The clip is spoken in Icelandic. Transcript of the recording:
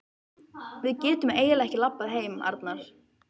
Við getum eiginlega ekki labbað heim, Arnar.